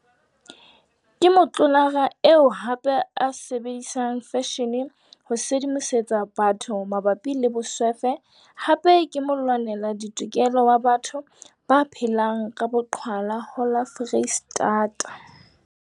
Ke motlolara eo hape a sebedisang feshene ho sedimosetsa batho mabapi le boswefe hape ke molwanela ditokelo wa batho ba phelang ka boqhwala ho la Foreistata.